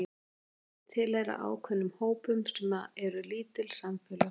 Allir tilheyra ákveðnum hópum sem eru lítil samfélög.